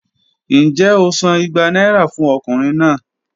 Njẹ o san igba naira fun ọkunrin naa?